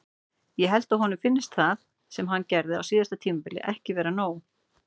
Ég held að honum finnist það sem hann gerði á síðasta tímabili ekki vera nóg.